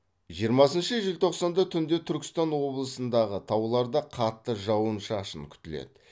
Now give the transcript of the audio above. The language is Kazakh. жиырмасыншы желтоқсанда түнде түркістан облысындағы тауларда қатты жауын шашын күтіледі